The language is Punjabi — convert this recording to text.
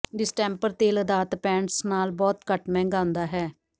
ਡਿਸਟੈਂਪਰ ਤੇਲ ਅਧਾਰਤ ਪੇਂਟਸ ਨਾਲੋਂ ਬਹੁਤ ਘੱਟ ਮਹਿੰਗਾ ਹੁੰਦਾ ਹੈ